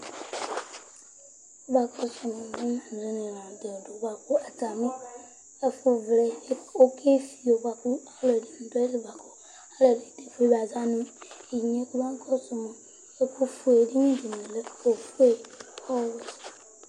Alʋɛdìní atami ɛdiní la ntɛ bʋakʋ atami ɛfuvlɛ ɔke fiyo bʋakʋ alʋɛdìní du ayìlí bʋakʋ alʋɛdìní ta eƒʋe ba za nʋ inye kaba kɔsuma Ɛku si nʋ ɛdiní dìní lɛ ɔƒʋe, ɔwɛ